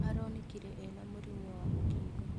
Aronekire ena mũrimũ wa mũkingo